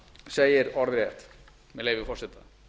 segir orðrétt með leyfi forseta